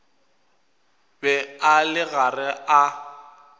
be a le gare a